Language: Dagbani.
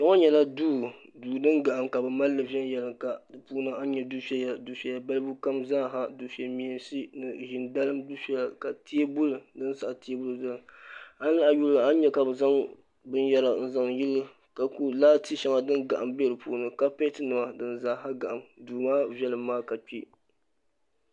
Kpe ŋɔ nyɛla duu duu din gahim ka bɛ mali li viɛnyɛlinga di puuni a ni nya difeya difeya balibu kam zaaha dife meensi ni ʒin dalim difeya ka teebuli din saɣi teebuli zaya an lahi yuli a ni nya ka bɛ zaŋ binyɛra n zaŋ yili ka guu laati shɛŋa din gahim be di puuni kaapɛtinima din zaaha gahim duu maa viɛlim maa yaɣiya